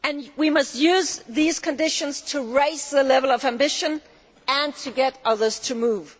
We must use these conditions to raise the level of ambition and to get others to move.